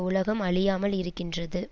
உலகம் அழியாமல் இருக்கின்றது